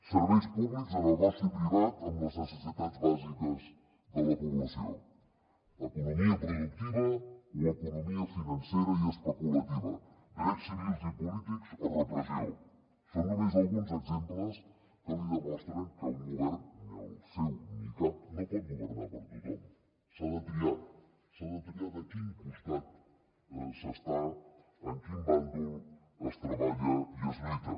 serveis públics o negoci privat amb les necessitats bàsiques de la població economia productiva o economia financera i especulativa drets civils i polítics o repressió són només alguns exemples que li demostren que un govern ni el seu ni cap no pot governar per a tothom s’ha de triar s’ha de triar de quin costat s’està en quin bàndol es treballa i es lluita